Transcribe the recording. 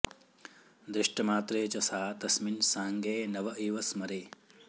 दृष्टमात्रे च सा तस्मिन् साङ्गे नव इव स्मरे